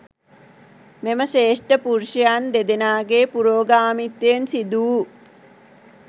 මෙම ශ්‍රේෂ්ඨ පුරුෂයන් දෙදෙනාගේ පුරෝගාමිත්වයෙන් සිදුවූ